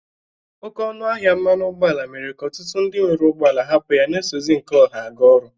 Oke ọnụ ahịa mmanụ ụgbọ ala mere ka ọtụtụ ndị nwere ụgbọ ala hapụ ya na-esozi nke ọha aga ọrụ.